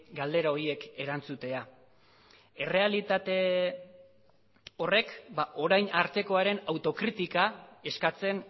galdera horiek erantzutea errealitate horrek orain artekoaren autokritika eskatzen